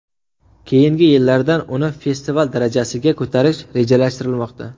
Keyingi yillardan uni festival darajasiga ko‘tarish rejalashtirilmoqda.